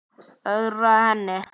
Ögra henni.